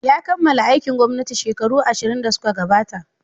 Ya kammala aikin gwamnati shekaru ashirn da suka gabata.